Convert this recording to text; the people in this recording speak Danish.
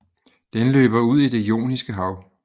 Den løber ud i Det Joniske Hav